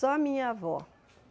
Só minha avó.